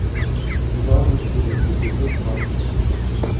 бульварные ужасы эпизод двадцать шесть